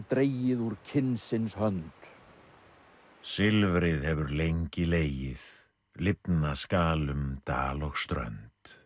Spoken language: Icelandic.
dregið úr kynsins hönd silfrið hefur lengi legið lifna skal um dal og strönd